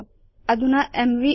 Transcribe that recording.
च अधुना एमवी